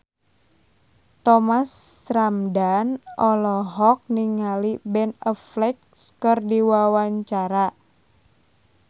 Thomas Ramdhan olohok ningali Ben Affleck keur diwawancara